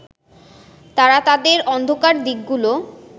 তারা তাদের অন্ধকার দিকগুলো